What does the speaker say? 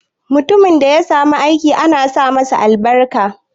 Mutumin da ya samu aiki ana sa masa albarka.